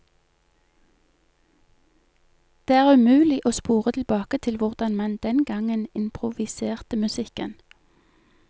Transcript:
Det er umulig å spore tilbake til hvordan man den gangen improviserte musikken.